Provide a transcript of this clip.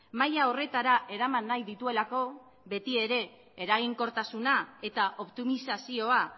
maila horretara eraman nahi dituelako beti ere eraginkortasuna eta optimizazioa